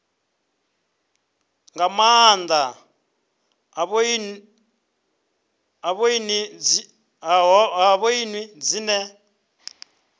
nga nnḓa ha ṱhoni dzine